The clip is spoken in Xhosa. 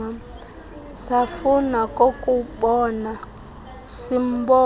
safuna nokumbona simbona